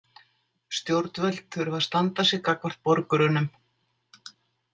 Stjórnvöld þurfa að standa sig gagnvart borgurunum.